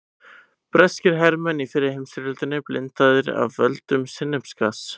Breskir hermenn í fyrri heimsstyrjöldinni blindaðir af völdum sinnepsgass.